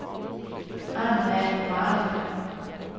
Anne Malm